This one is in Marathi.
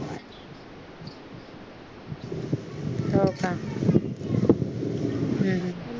हो का हम्म